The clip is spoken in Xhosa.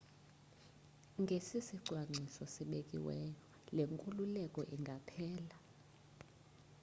ngesisicwangciso sibekiweyo le nkululeko ingaphela